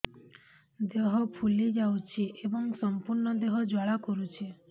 ଦେହ ଫୁଲି ଯାଉଛି ଏବଂ ସମ୍ପୂର୍ଣ୍ଣ ଦେହ ଜ୍ୱାଳା କରୁଛି